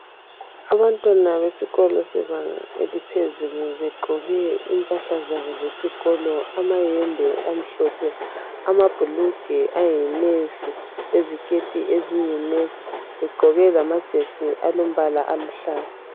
Abantwana besikolo sebanga eliphezulu begqoke impahla zabo zesikolo amayembe amhlophe amabhulugwe ayi nevi leziketi eziyi nevi begqoke lamajesi alombala oluhlaza.